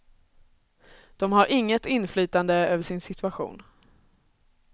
De har inget inflytande över sin situation.